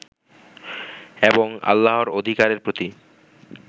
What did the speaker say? এবং আল্লাহর অধিকারের প্রতি